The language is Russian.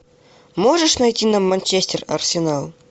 можешь найти нам манчестер арсенал